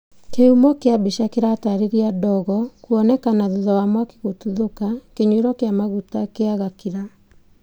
kĩhumo kũa mbica kĩratarĩria ndogo kuonekana thutha wa mwaki gũtuthũka kĩnyuĩro kĩa maguta kia Gakira